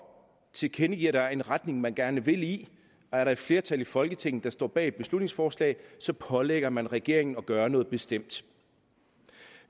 tilkendegiver at der er en retning man gerne vil i og er der et flertal i folketinget der står bag et beslutningsforslag så pålægger man regeringen at gøre noget bestemt